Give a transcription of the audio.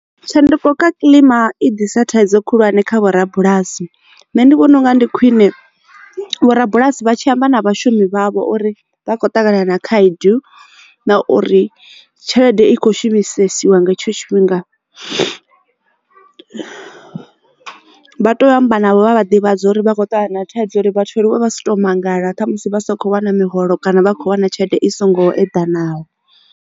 Tshanduko kha kiḽima i ḓisa thaidzo khulwane kha vho rabulasi nṋe ndi vhona unga ndi khwine vhorabulasi vha tshi amba na vhashumi vhavho uri vha khou ṱangana na khaedu na uri tshelede i kho shumisesiwa nga hetsho tshifhinga. Vha to amba navho vha vha ḓivhadza uri vha khou ṱangana na thaidzo uri vhathu vha aluwe vha si to mangala musi vha sa kho wana miholo kana vha khou wana tshelede i songo eḓanaho.